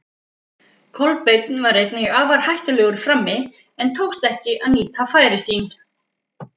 Kolbeinn var einnig afar hættulegur frammi, en tókst ekki að nýta færi sín.